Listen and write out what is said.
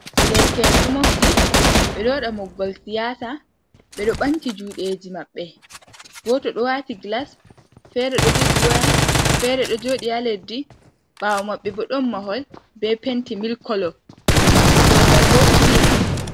Derke'en ɗo mofti ɓeɗo waɗa mobgal siyasa ɓeɗo ɓamti juɗe ji maɓɓe goto ɗo wati gilas fere ɗo jogi waya fere ɗo joɗi ha leddi ɓawo mabɓe bo ɗon mahol ɓe penti mil kolo dow mai bo silim on.